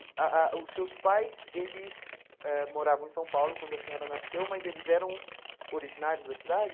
Ah ah os seus pais, eles ãh moravam em São Paulo quando a senhora nasceu, mas eles eram originários da cidade?